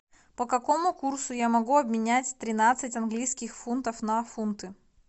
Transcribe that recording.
по какому курсу я могу обменять тринадцать английских фунтов на фунты